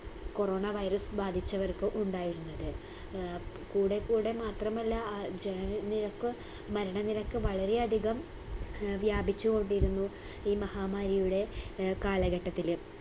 corona virus ബാധിച്ചവർക്ക് ഉണ്ടായിരുന്നത്. ഏർ കൂടെക്കൂടെ മാത്രമല്ല അ ജനനിരക്ക് മരണനിരക്ക് വളരെ അധികം ഏർ വ്യാപിച്ചു കൊണ്ടിരുന്നു ഈ മഹാമാരിയുടെ ഏർ കാലഘട്ടത്തില്